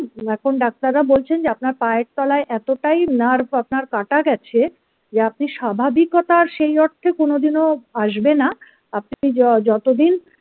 এখন ডাক্তাররা বলছেন যে আপনার পায়ের তলায় এতটাই nerve আপনার কাটা গেছে যে আপনি স্বাভাবিকতার সেই অর্থে কোনদিনও আসবে না আপনি যতদিন।